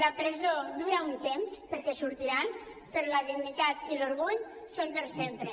la presó dura un temps perquè en sortiran però la dignitat i l’orgull són per sempre